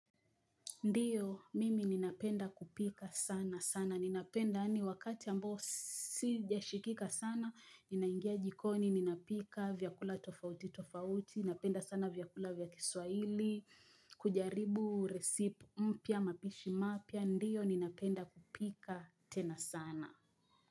Ndio, mimi ninapenda kupika sana sana. Ninapenda yaani wakati ambayo sijashikika sana. Ninaingia jikoni, ninapika vyakula tofauti, tofauti. Ninapenda sana vyakula vya kiswahili. Kujaribu resipe mpya, mapishi mapya. Ndio, ninapenda kupika tena sana.